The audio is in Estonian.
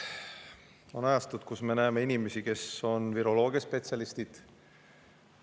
On ajastud, kus me näeme inimesi, kes on viroloogiaspetsialistid.